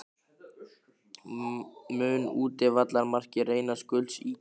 Mun útivallarmarkið reynast gulls ígildi?